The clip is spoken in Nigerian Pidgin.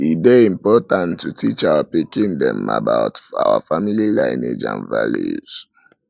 e dey important to teach our pikin dem about our family lineage and values